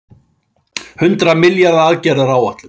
Hundrað milljarða aðgerðaáætlun